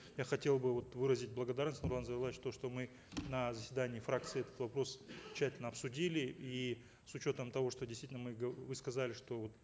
я хотел бы вот выразить благодарность нурлан зайроллаевич то что мы на заседании фракции этот вопрос тщательно обсудили и с учетом того что действительно мы вы сказали что вот